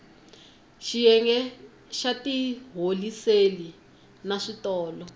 xiyenge xa tiholiseli na switolo